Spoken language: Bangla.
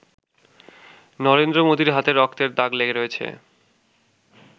নরেন্দ্র মোদির হাতে রক্তের দাগ লেগে রয়েছে।